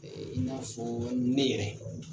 ƐƐ i n'afɔɔ ne yɛrɛ